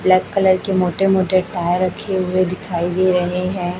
Black colour के मोटे मोटे टायर रखे हुए दिखाई दे रहे हैं।